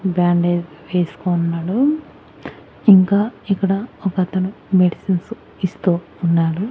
Bandage వేసుకోన్నాడు ఇంకా ఇక్కడ ఒక అతను మెడిసిన్స్ ఇస్తూ ఉన్నాడు.